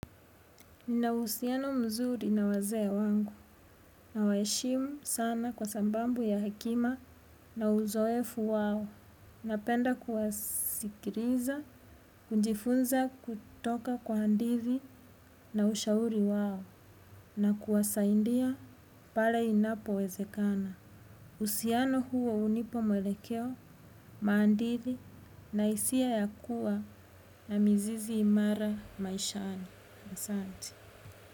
Nina uhusiano mzuri na wazee wangu nawaheshimu sana kwa sababu ya hekima na uzoefu wao. Napenda kuwasikiriza, kujifunza kutoka kwa handithi na ushauri wao na kuwasaindia pale inapo wezekana. Uhusiano huo hunipa mwelekeo, maandithi, na hisia ya kuwa na mizizi imara maishani. Asanti.